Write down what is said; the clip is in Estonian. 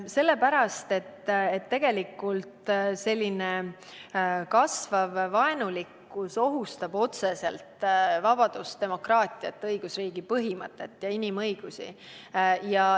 Sellepärast, et kasvav vaenulikkus ohustab otseselt vabadust, demokraatiat, õigusriigi põhimõtteid ja inimõigusi.